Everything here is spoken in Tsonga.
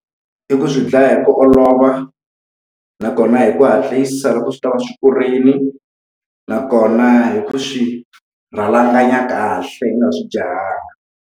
I ku swi dlaya hi ku olov, a nakona hi ku hatlisa loko swi tava swi kurile, nakona hi ku swi swirhalanganya kahle i nga swi jahha.